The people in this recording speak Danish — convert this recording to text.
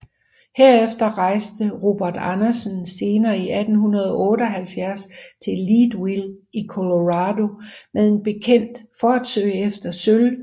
Herefter rejste Robert Andersen senere i 1878 til Leadville i Colorado med en bekendt for at søge efter sølv